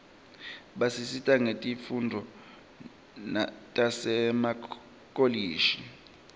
basita nangetifundvo tasemakolishi